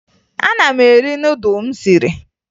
Ana m eri nudụ m siri